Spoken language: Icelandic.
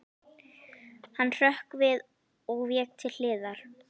Hann hrökk við og vék til hliðar.